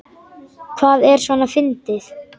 Hvað er svona fyndið?